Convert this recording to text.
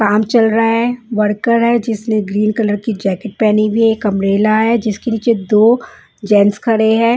काम चल रहा है वर्कर है जिसने ग्रीन कलर की जैकेट पहनी हुई है एक अंब्रेला है जिसके नीचे दो जेन्स खड़े हैं।